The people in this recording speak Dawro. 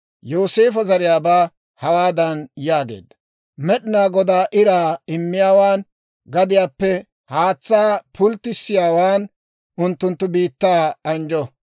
Yooseefo zariyaabaa hawaadan yaageedda; «Med'inaa Goday iraa immiyaawan, gadiyaappe haatsaa pulttissiyaawan, unttunttu biittaa anjjo.